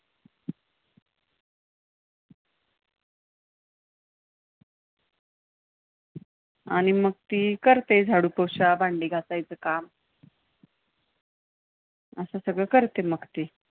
आणि, मग ती करते झाडू पोछा, भांडी घासायचं काम असं सगळं करते मग ती.